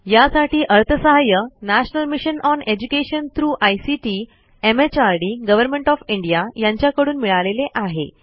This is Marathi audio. यासाठी अर्थसहाय्य national mission on education through ICT MHRD government of India यांच्याकडून मिळालेले आहे